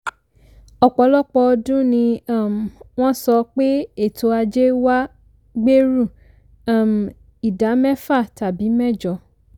ọ̀pọ̀lọpọ̀ ọdún ni um won sọ pé ètò ajé wa gbèrú um ìdá mẹ́fà tàbí mẹ́jọ.